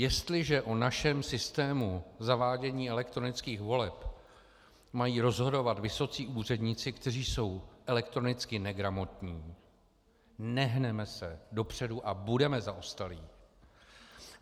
Jestliže o našem systému zavádění elektronických voleb mají rozhodovat vysocí úředníci, kteří jsou elektronicky negramotní, nehneme se dopředu a budeme zaostalí.